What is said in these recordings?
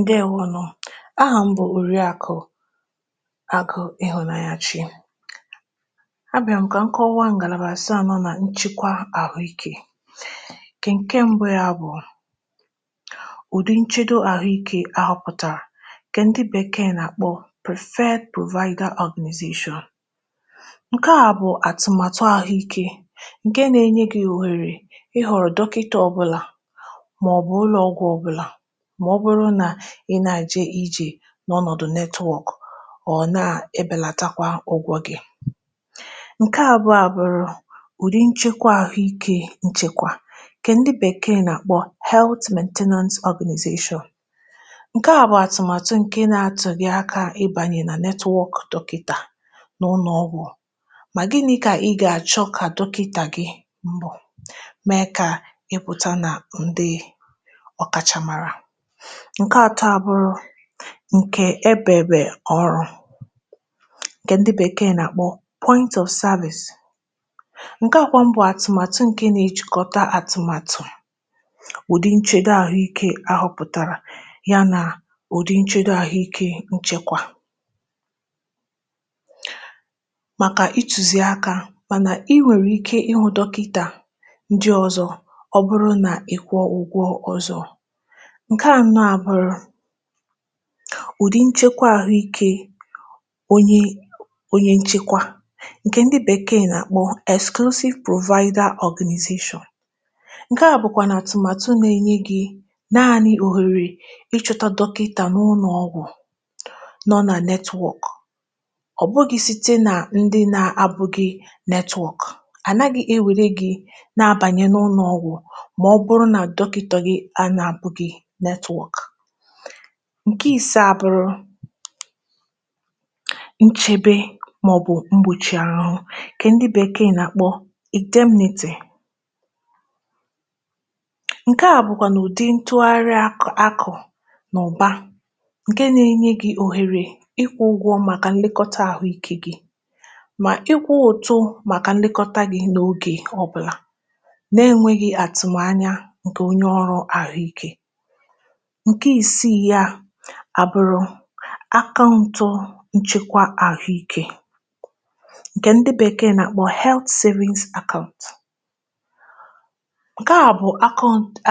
Ǹdeewònụ. Àhụ̀ mbụ̇ Òriakụ Àgụ̇ Ịhụ̀nanya Chi. À bịa m̀kà nke ụwa ngàlàbàràsịa nọ n’chịkwa àhụ̀ikẹ̀, kè ǹkè mbụ́, ya bụ̀ ụ̀dị̀ nchedo àhụ̀ikẹ̀ àhụ̀pụ̀tàrà, kè ǹdị̀ Bèkee nà-àkpọ Prefe Pulvaniaga Organization. Ǹkè a bụ̀ àtụ̀màtụ̀ àhụ̀ikẹ̀, ǹkè nà-enye gị wèrè ịhụ̀rụ̀ dọkịtà ọbụ̀là, mà ọ bụrụ̀ nà ị nà-àjị ijì n’ọnọ̀dụ̀ netwọ̀kụ̀, ọ̀ nà-ebèlàtakwa ụgwọ̇ gị. um Ǹkè àbụọ̀ abụrụ ụ̀dị̀ nchekwa àhụ̀ikẹ̀, nchekwa kà ǹdị̀ Bèkee nà-àkpọ Health and Management Organization. Ǹkè àbụọ̀ àtụ̀màtụ̀ ǹkè ị nà-atụ̀ gị aka ịbànyè nà netwọ̀kụ̀ dọkịtà n’ụnọ̀ ọgwụ̀, mà gị nà-ịkà, ị gà-achọ kà dọkịtà gị̀ mbụ́. Ǹkè atọ̀ abụrụ ǹkè ebèbè ọrụ, ǹkè ǹdị̀ Bèkee nà-àkpọ service. um Ǹkè àkwà mbọ̀ àtụ̀màtụ̀, ǹkè nà-echìkọ̀tà àtụ̀màtụ̀ ụ̀dị̀ nchedo àhụ̀ikẹ̀ àhụ̀pụ̀tàrà ya, nà ụ̀dị̀ nchedo àhụ̀ikẹ̀ nchekwa màkà itùsìaka. Mànà ị nwèrè ike ịhụ̇ dọkịtà ǹdị̀ ọzọ, ọ̀bụ̀rụ̀ nà ịkwọ, ǹkè hà nọ̀ à, bụ̀rụ̀ ụ̀dị̀ nchekwa àhụ̀ikẹ̀ onye onye. Nchekwa ǹkè ǹdị̀ Bèkee nà-àkpụ Anàshịsịl Pụ̀rụ̀vaghɪdȧ Ọ̀gɪ́nɪ̀zìshʊ̀, ǹkè hà bụ̀kwà nà-àtụ̀màtụ̀ nà-enye gị̀ nanị òhèrè ịchụ̇tȧ dọkịtà n’ụnọ̀ ọgwụ̀ nọ nà netwọ̀kụ̀, ọ̀ bụ̀ghị̀ site nà ǹdị̀ nà-abụ gị̇ netwọ̀kụ̀. Ànaghị ewèrè gị̇ nà-abànye n’ụnọ̀ ọgwụ̀. um Ǹkè ìsà abụrụ nchebe màọ̀bụ̀ mgbòchi àhụ̀hụ̀, kà ǹdị̀ Bèkee nà-àkpọ̇ Ìdè Mǹtè. Ǹkè a bụ̀kwà n’ụ̀dị̀ ntụ̀gharị àkụ̀ n’ụ̀ba, ǹkè n’enyé gị òhèrè ịkwụ̇ ụgwọ̇ màkà nlekọta àhụ̀ikẹ̀ gị̇, mà ịkwụ̇ òtù màkà nlekọta gị̇ n’ogè obụ̀là. Ǹkè ị si ya à, bụ̀rụ̀ Akàụ̀ntụ Nchekwa Àhụ̀ikẹ̀, ǹkè ǹdị̀ Bèkee nà-àkpọ Health Insurance Account. Ǹkè à bụ̀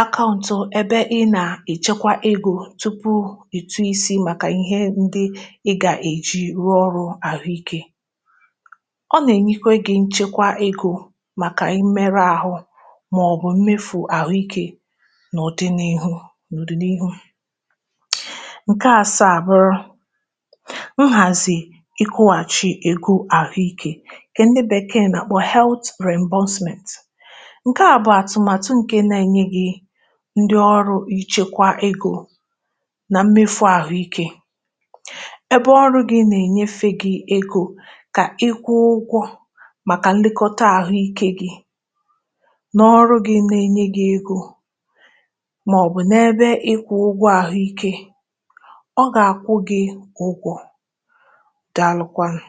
akàụ̀ntụ èbè ị nà-echekwa egò tupu ị̀tụ̀ isi, màkà ìhè ǹdị̀ ị gà-èji rụọ ọrụ àhụ̀ikẹ̀. Ọ nà-enyekwa gị nchekwa egò màkà i mere ahụ̇, mà ọ̀ bụ̀ mmefu àhụ̀ikẹ̀. um Ǹkè àsà abụrụ nhàzị ikụ̀wàchị ègo àhụ̀ikẹ̀, kà ǹdị̀ Bèkee nà-àkpọ̀ Health Management. Ǹkè àbụọ̀ àtụ̀màtụ̀ ǹkè nà-enye gị ǹdị̀ ọrụ ichekwa egò nà mmefu àhụ̀ikẹ̀. Èbè ọrụ gị nà-ènyefe gị egò kà ịkwụ ụgwọ̇ màkà ǹdịkọ̀tà àhụ̀ikẹ̀ gị, n’ọrụ gị nà-enye gị egò, ọ gà-àkwụ gị̇ ụgwọ̇ dị̀ àlụ̀kwanụ̀.